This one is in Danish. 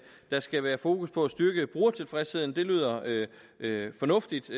der skal være fokus på at styrke brugertilfredsheden det lyder fornuftigt